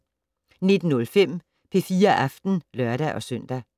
19:05: P4 Aften (lør-søn)